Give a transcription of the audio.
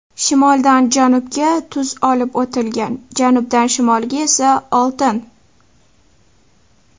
Shimoldan janubga tuz olib o‘tilgan, janubdan shimolga esa oltin.